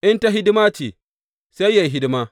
In ta hidima ce; sai yă yi hidima.